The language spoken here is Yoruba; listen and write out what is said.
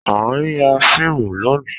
A n ya fiimu loni